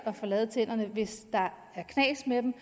at få lavet tænderne hvis der er knas med dem